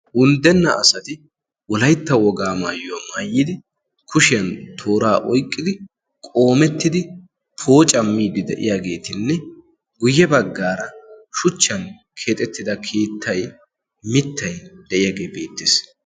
unddenna asati wolaitta wogaa maayyaa maayyidi kushiyan tooraa oiqqidi qoomettidi poocamiidi de7iyaageetinne guyye baggaara shuchchan keexettida kiittai mittai de7iyaagee beittiis